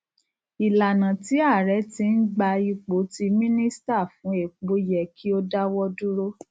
ìlànà tí ààrẹ tí n gbà ipò tí mínísítà fún epo yẹ kí o dáwọ dúró